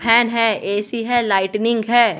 Fan है AC है lightning है।